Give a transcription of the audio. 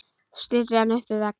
Stillir henni upp við vegg.